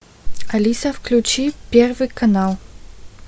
алиса включи первый канал